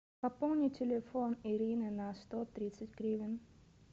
пополни телефон ирины на сто тридцать гривен